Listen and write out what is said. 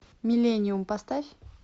миллениум поставь